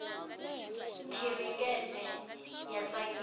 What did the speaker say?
khirikete ya tsakisa